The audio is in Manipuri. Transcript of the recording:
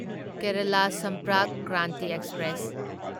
ꯀꯦꯔꯂꯥ ꯁꯝꯄꯔꯛ ꯀ꯭ꯔꯥꯟꯇꯤ ꯑꯦꯛꯁꯄ꯭ꯔꯦꯁ